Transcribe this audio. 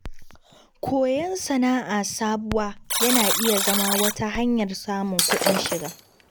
Koyon sana’a sabuwa yana iya zama wata hanyar samun kuɗin shiga.